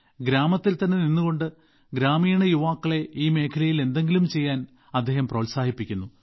ഗ്രാമത്തിൽ തന്നെ നിന്നുകൊണ്ട് ഗ്രാമീണ യുവാക്കളെ ഈ മേഖലയിൽ എന്തെങ്കിലും ചെയ്യാൻ അദ്ദേഹം പ്രോത്സാഹിപ്പിക്കുന്നു